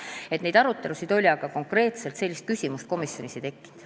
Nii et selleteemalisi arutelusid oli, aga konkreetselt sellist küsimust komisjonis ei tekkinud.